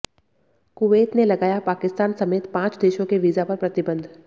Kuwait ने लगाया पाकिस्तान समेत पांच देशों के वीजा पर प्रतिबन्ध